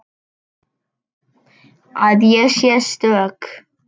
Að ég sé stök.